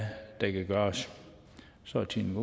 der kan gøres så er tiden